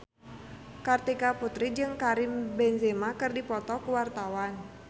Kartika Putri jeung Karim Benzema keur dipoto ku wartawan